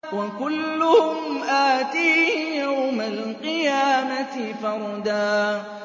وَكُلُّهُمْ آتِيهِ يَوْمَ الْقِيَامَةِ فَرْدًا